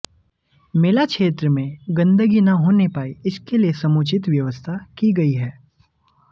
मेला क्षेत्र में गंदगी न होने पाए इसके लिए समुचित व्यवस्था की गई है